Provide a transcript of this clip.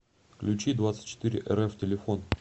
ключидвадцатьчетырерф телефон